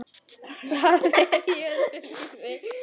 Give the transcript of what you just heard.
Það er í öðru lífi.